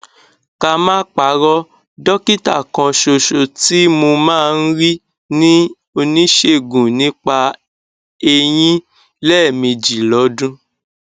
ká má parọ dọkítà kanṣoṣo tí mo máa ń rí ni oníṣègùn nípa eyín lẹẹmejì lọdún